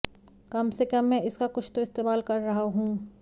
कम से कम मैं इसका कुछ तो इस्तेमाल कर रहा हूँ